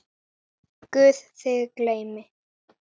Guð þig geymi.